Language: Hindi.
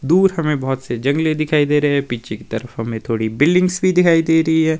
दूर हमें बोहोत से जंगले दिखाई दे रहे हैं पीछे की तरफ हमें थोड़ी बिल्डिंग्स भी दिखाई दे रही है।